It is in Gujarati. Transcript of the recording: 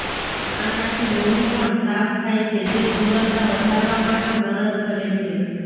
આનાથી લોહી પણ સાફ થાય છે જે સુંદરતા વધારવામાં પણ મદદ કરે છે